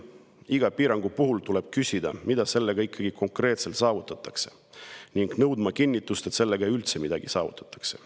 Iga piirangu puhul tuleb küsida, mida sellega ikkagi konkreetselt saavutatakse ning nõudma kinnitust, et sellega üldse midagi saavutatakse.